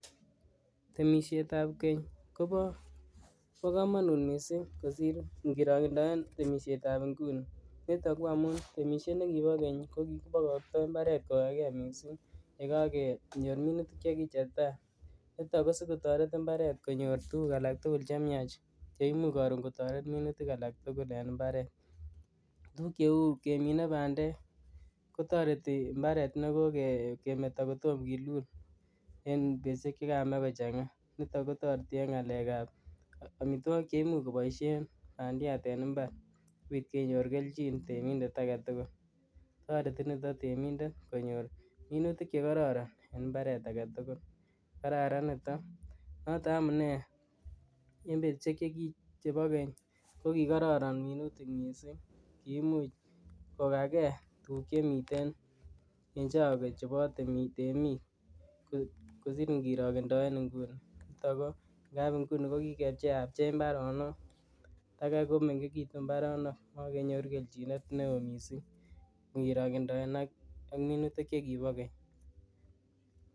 Temisietab keny Kobo kamanut mising kosir ngirokendoen temisietab nguni, nito ko amun temisiet ne kibo keny ko kikipokoktoi mbaret kokakee mising ye kakenyor minutik cheki chetai, nitok ko sikotoret mbaret konyor tuguk alak tugul che miach che imuch karon kotoret minutik alak tugul en mbaret, tuguk cheu kemine bandek kotoreti mbaret ne kokemeto ko tom kilul en betusiek che kamach kochanga, nito kotoreti en ngalekab amitwogik che imuch koboisien bandiat en mbar sikobiit kenyor keljin temindet ake tugul, toreti nito temindet konyor minutik chekororon en mbaret age tugul, Kararan nito noto amunee en betusiek chebo keny kokikororon minutik mising, kimuch kokage tuguk che miten en choge chebo temik kosir ngirokendoen inguni, nito ko ngap inguni ko kikepcheapche mbaronok takai komengekitu mbaronok makenyoru keljinet neo mising ngirokendoen ak minutik che kibo keny.